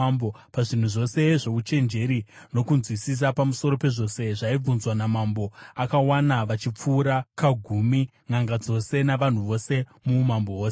Pazvinhu zvose zvouchenjeri nokunzwisisa pamusoro pezvose zvaibvunzwa namambo, akavawana vachipfuura kagumi nʼanga dzose navanhu vose muumambo hwose.